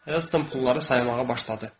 Heston pulları saymağa başladı.